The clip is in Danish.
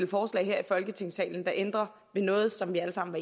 forslag her i folketingssalen der ændrer ved noget som vi alle sammen